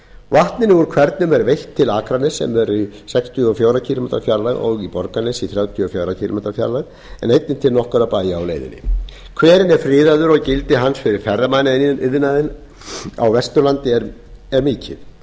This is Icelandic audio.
vatninu úr hvernum er veitt til akraness sem er í sextíu og fjóra kílómetra fjarlægð og borgarnes í þrjátíu og fjóra kílómetra fjarlægð en einnig til nokkurra bæja á leiðinni hverinn er friðaður og gildi hans fyrir ferðamannaiðnaðinn á vesturlandi er mikið